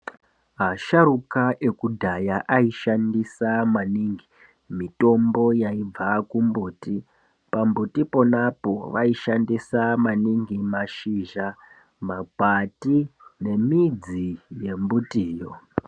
Asharuka ekudhaya aishandisa maningi mitombo yaibva kumbuti. Pambuti ponapo vaishandisa maningi mashizha, makwati nemidzi yembutiyo.